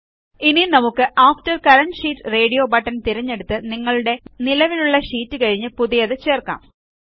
ഇനി നമുക്ക് after current sheet radio button തിരഞ്ഞെടുത്ത് നിങ്ങളുടെ നിലവിലുള്ള ഷീറ്റ് കഴിഞ്ഞു പുതിയത് ചേർക്കാം